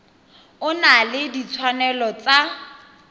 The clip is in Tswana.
o na le ditshwanelo tsa